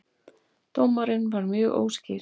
Dómarinn var mjög óskýr